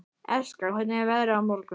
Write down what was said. Eskja, hvernig er veðrið á morgun?